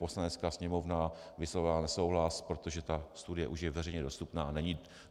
Poslanecká sněmovna vyslovila nesouhlas, protože ta studie už je veřejně dostupná.